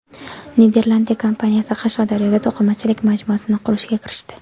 Niderlandiya kompaniyasi Qashqadaryoda to‘qimachilik majmuasini qurishga kirishdi.